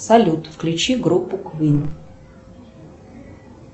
салют включи группу квин